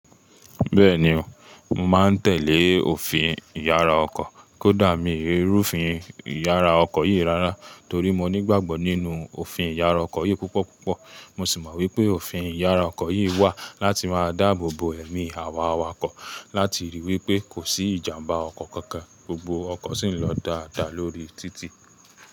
Bẹ́ẹ̀ni o, mo màá n tẹ̀lé òfin ìyára ọkọ̀, kó dà mí í rú ofin ìyára ọkọ̀ yìí rárá torí mo ní ìgbàgbọ́ nínú òfin ìyára ọkọ̀ yìí púpọ̀púpọ̀. Mo sì mọ̀ wípé òfin ìyára ọkọ̀ yìí wà láti máa dáàbò bo ẹ̀mí àwa awakọ̀ láti ríi wípé kò sí ìjàmbá ọkọ̀ kankan, gbogbo ọkọ̀ sì ń lọ dáadáa lórí títì.